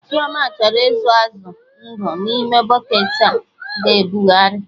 Chioma chọrọ ịzụ azụ ndụ na ime bụcketị a ga-ebughari